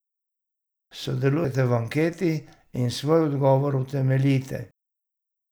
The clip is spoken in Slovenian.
Sodelujte v anketi in svoj odgovor utemeljite.